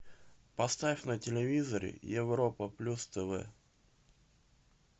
поставь на телевизоре европа плюс тв